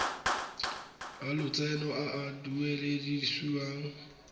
a lotseno a a duedisiwang